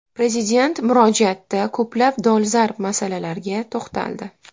Prezident murojaatda ko‘plab dolzarb masalalarga to‘xtaldi.